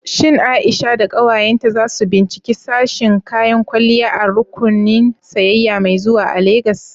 Shin Aisha da ƙawayenta za su binciki sashin kayan kwalliya a rukunin sayayya mai zuwa a Legas?